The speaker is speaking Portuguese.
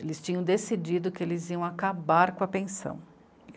Eles tinham decidido que eles iam acabar com a pensão.